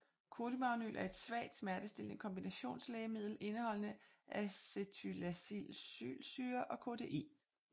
Kodimagnyl er et svagt smertestillende kombinationslægemiddel indeholdende acetylsalicylsyre og kodein